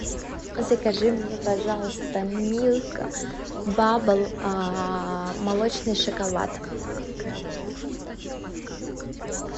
закажи мне пожалуйста милка бабл молочный шоколад